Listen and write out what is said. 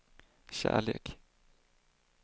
kärlek